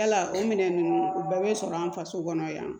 Yala o minɛn ninnu o bɛɛ bɛ sɔrɔ an faso kɔnɔ yan